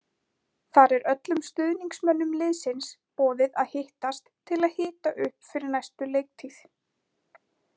Þar er öllum stuðningsmönnum liðsins boðið að hittast til að hita upp fyrir næstu leiktíð.